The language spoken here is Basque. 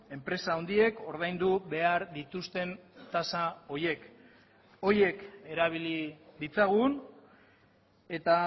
enpresa handiek ordaindu behar dituzten tasa horiek horiek erabili ditzagun eta